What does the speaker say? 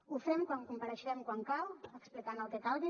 ho fem quan compareixem quan cal explicant el que calgui